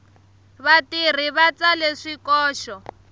vatirhi va tsale swikoxo